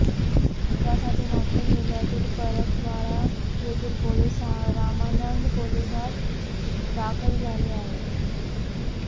यासाठी नागपूर जिल्ह्यातील परतवाडा येथील पोलीस रामानंद पोलीसात दाखल झाले आहे